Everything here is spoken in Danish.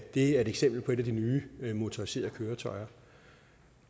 er et eksempel på et af de nye motoriserede køretøjer